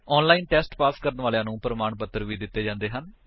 online test pass ਕਰਨ ਵਾਲਿਆਂ ਨੂੰ ਪ੍ਰਮਾਣ ਪੱਤਰ ਵੀ ਦਿੰਦੇ ਹਨ